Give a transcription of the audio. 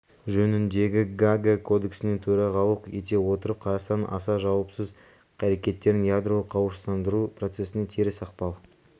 жөніндегі гаага кодексіне төрағалық ете отырып қазақстан аса жауапсыз әрекеттерін ядролық қарусыздандыру процесіне теріс ықпал